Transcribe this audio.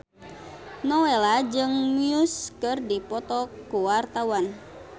Nowela jeung Muse keur dipoto ku wartawan